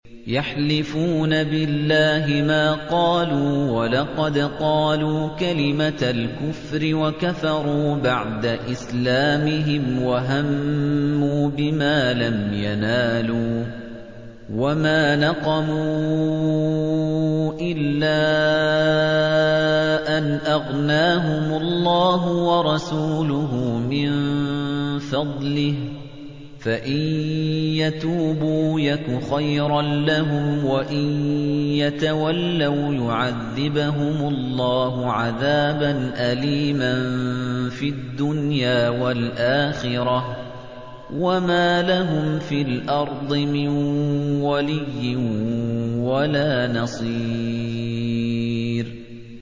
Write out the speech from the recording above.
يَحْلِفُونَ بِاللَّهِ مَا قَالُوا وَلَقَدْ قَالُوا كَلِمَةَ الْكُفْرِ وَكَفَرُوا بَعْدَ إِسْلَامِهِمْ وَهَمُّوا بِمَا لَمْ يَنَالُوا ۚ وَمَا نَقَمُوا إِلَّا أَنْ أَغْنَاهُمُ اللَّهُ وَرَسُولُهُ مِن فَضْلِهِ ۚ فَإِن يَتُوبُوا يَكُ خَيْرًا لَّهُمْ ۖ وَإِن يَتَوَلَّوْا يُعَذِّبْهُمُ اللَّهُ عَذَابًا أَلِيمًا فِي الدُّنْيَا وَالْآخِرَةِ ۚ وَمَا لَهُمْ فِي الْأَرْضِ مِن وَلِيٍّ وَلَا نَصِيرٍ